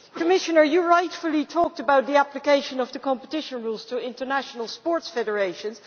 Commissioner, you rightly talked about the application of the competition rules to international sports federations.